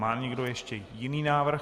Má někdo ještě jiný návrh?